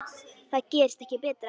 Það gerist ekki betra.